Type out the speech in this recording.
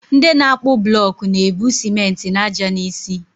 Nde na akpu blok na-ebu simenti na ájá n'isi.